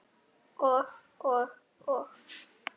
Og, og, og.